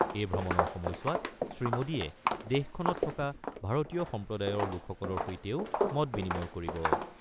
এই ভ্ৰমণৰ সময়ছোৱাত শ্ৰীমোদীয়ে দেশখনত থকা ভাৰতীয় সম্প্ৰদায়ৰ লোকসকলৰ সৈতেও মতবিনিময় কৰিব।